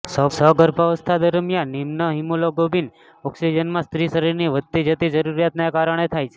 સગર્ભાવસ્થા દરમિયાન નિમ્ન હિમોગ્લોબિન ઓક્સિજનમાં સ્ત્રી શરીરની વધતી જતી જરૂરિયાતને કારણે થાય છે